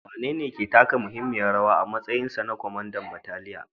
Wanene ya taka muhimmiyar rawa a matsayinsa na kwamandan bataliyar?